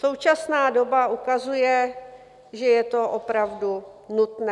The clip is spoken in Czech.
Současná doba ukazuje, že je to opravdu nutné.